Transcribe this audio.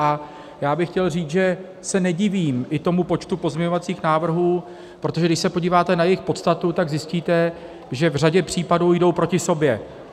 A já bych chtěl říct, že se nedivím i tomu počtu pozměňovacích návrhů, protože když se podíváte na jejich podstatu, tak zjistíte, že v řadě případů jdou proti sobě.